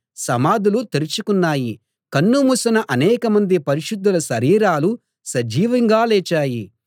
సమాధులు తెరుచుకున్నాయి కన్ను మూసిన అనేక మంది పరిశుద్ధుల శరీరాలు సజీవంగా లేచాయి